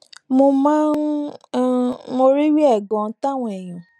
mo máa ń um mọrírì rè ganan táwọn èèyàn